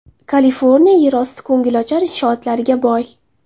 Kaliforniya yerosti ko‘ngilochar inshootlariga boy.